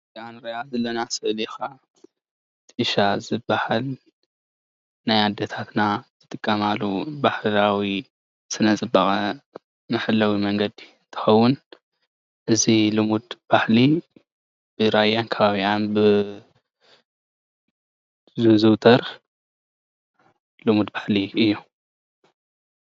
እዛ እንሪኣ ዘለና ስእሊ ከዓ ጥሻ ዝባሃል ናይ ኣዴታትና ዝጥቀማሉ ባህላዊ ስነ ፅባቐ መሕለዊ መንገዲ ትከውን፡፡ እዚ ልሙድ ባህሊ ብራያን ከባቢኣን ዝዝውተር ልሙድ ባህሊ እዩ፡፡